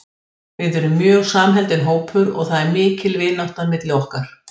Við erum mjög samheldinn hópur og það er mikil vinátta milli okkar.